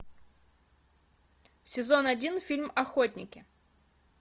сезон один фильм охотники